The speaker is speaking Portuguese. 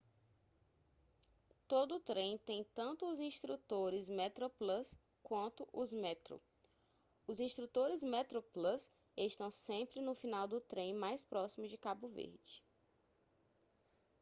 todo trem tem tanto os instrutores metroplus quanto os metro os instrutores metroplus estão sempre no final do trem mais próximo de cabo verde